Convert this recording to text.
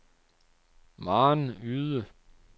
Maren Yde